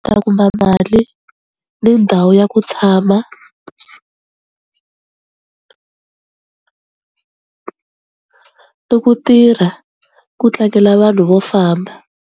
Ta kuma mali ni ndhawu ya ku tshama ni ku tirha ku tlangela vanhu vo famba.